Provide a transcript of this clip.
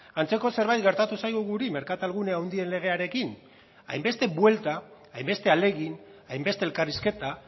antzeko zerbait gertatu zaigu guri merkatalgune handien legearekin hainbeste buelta hainbeste ahalegin hainbeste elkarrizketa